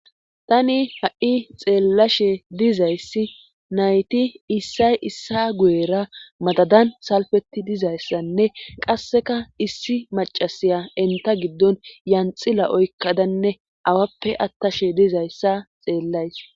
tani ha7i xeellashe dizayssi nayti issay issa guyera madadan salfeti dizayssanne qasseka issi macasiya enta giddon yanxila oykkadanne awappe attashe dizayssa xeellays